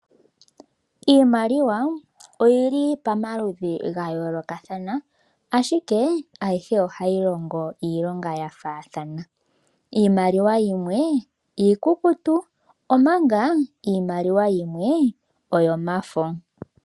Iimaliwa oyili pomaludhi gayoolokathana ashike ayihe ohayi longo iilonga yafaathana. Iimaliwa yimwe iikukutu omanga iimaliwa yimwe oyomafo.